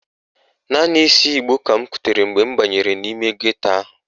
Naanị ísí ìgbó ka m kutere mgbe m banyere n'ime geto ahụ.